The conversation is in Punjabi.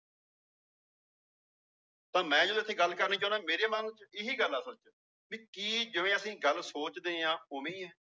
ਤਾਂ ਮੈਂ ਜੋ ਇੱਥੇ ਗੱਲ ਕਰਨੀ ਚਾਹੁਨਾ ਮੇਰੇ ਮਨ ਚ ਇਹੀ ਗੱਲ ਆ ਅਸਲ ਚ ਵੀ ਕੀ ਜਿਵੇਂ ਅਸੀਂ ਗੱਲ ਸੋਚਦੇ ਹਾਂ ਉਵੇਂ ਹੀ ਹੈ।